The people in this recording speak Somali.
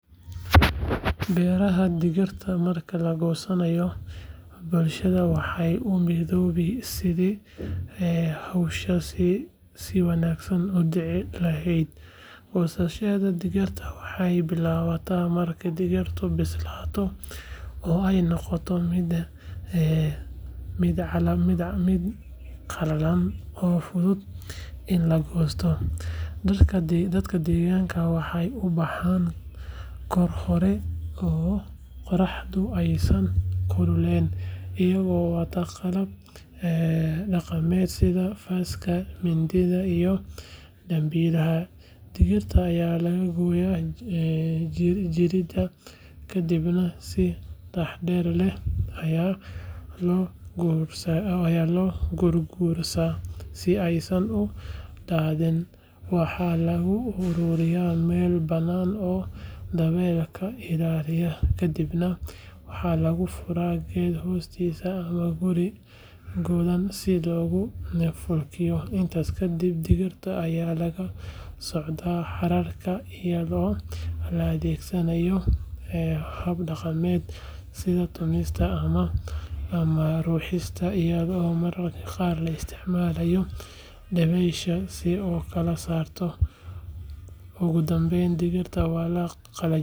Beeraha digirta marka la goosanayo, bulshada waxay u midoobaan sidii hawshaasi si wanaagsan u dhici lahayd. Goosashada digirta waxay bilaabataa marka digirtu bislaato oo ay noqoto mid qallalan oo fudud in la goosto. Dadka deegaanka waxay u baxaan goor hore oo qorraxdu aysan kululayn, iyagoo wata qalab dhaqameed sida faaska, mindida iyo dambiilaha. Digirta ayaa laga gooyaa jirida, kadibna si taxaddar leh ayaa loo gurguuraa si aysan u daadin. Waxaa lagu ururiyaa meel bannaan oo dabayl ka ilaalan, kadibna waxaa lagu furaa geed hoostiis ama guri godan si loogu falkiyo. Intaas kadib, digirta ayaa laga soocaa hararta iyadoo la adeegsanayo hab dhaqameedyo sida tumista ama ruxista iyadoo mararka qaar la isticmaalayo dabeysha si loo kala saaro. Ugu dambeyn, digirta waa la qalajiyaa.